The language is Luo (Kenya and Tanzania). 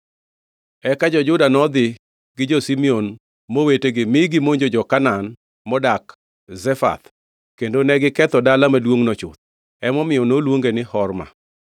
Eka jo-Juda nodhi gi jo-Simeon mowetegi mi gimonjo jo-Kanaan modak Zefath, kendo negiketho dala maduongʼno chuth. Emomiyo noluonge ni Horma.